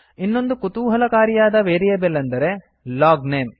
ಇನ್ನೊಂದು ಕುತೂಹಲಕಾರಿಯಾದ ವೇರಿಯೇಬಲ್ ಎಂದರೆ ಲಾಗ್ನೇಮ್